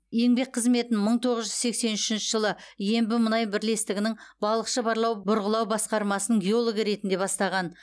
еңбек қызметін мың тоғыз жүз сексен үшінші жылы ембімұнай бірлестігінің балықшы барлау бұрғылау басқармасының геологы ретінде бастаған